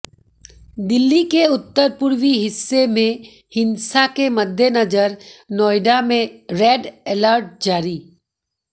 दिल्ली के उत्तर पूर्वी हिस्से में हिंसा के मद्देनजर नोएडा में रेड अलर्ट जारी